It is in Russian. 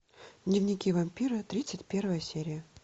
дневники вампира тридцать первая серия